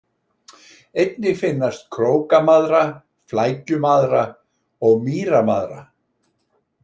Einnig finnast Krókamaðra, Flækjumaðra og Mýramaðra.